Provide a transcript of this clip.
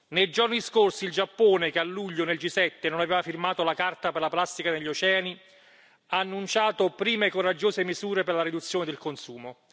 Nei giorni scorsi il Giappone, che a luglio al G7 non aveva firmato la Carta per la plastica negli oceani, ha annunciato prime e coraggiose misure per la riduzione del consumo.